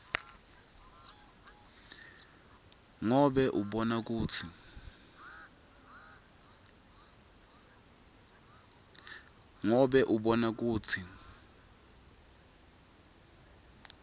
ngobe abona kutsi